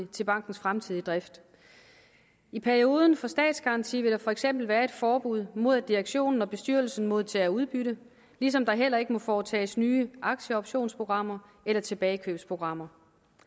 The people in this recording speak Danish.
til bankens fremtidige drift i perioden for statsgaranti vil der for eksempel være et forbud mod at direktionen og bestyrelsen modtager udbytte ligesom der heller ikke må foretages nye aktieoptionsprogrammer eller tilbagekøbsprogrammer